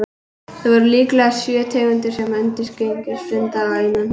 Þar af eru líklega sjö tegundir sem einungis finnast innanhúss.